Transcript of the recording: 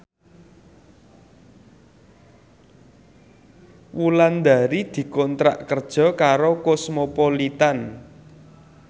Wulandari dikontrak kerja karo Cosmopolitan